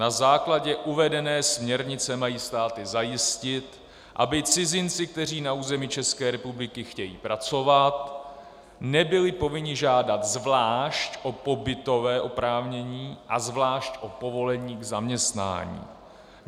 Na základě uvedené směrnice mají státy zajistit, aby cizinci, kteří na území České republiky chtějí pracovat, nebyli povinni žádat zvlášť o pobytové oprávnění a zvlášť o povolení k zaměstnání.